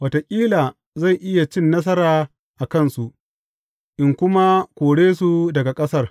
Wataƙila zan iya cin nasara a kansu, in kuma kore su daga ƙasar.